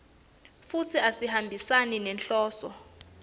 futsi asihambisani nenhloso